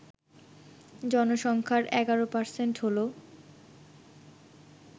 জনসংখ্যার ১১% হল